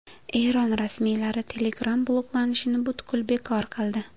Eron rasmiylari Telegram bloklanishini butkul bekor qildi.